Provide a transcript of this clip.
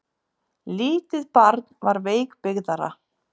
Lítið barn var veikbyggðara.